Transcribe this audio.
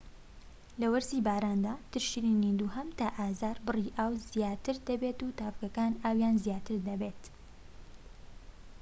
لە وەرزی باراندا تشرینی دووهەم تا ئازار بڕی ئاو زیاتر دەبێت و تاڤگەکان ئاویان زیاتر دەبێت